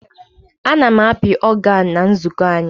A na m api ọganụ na nzukọ anyị.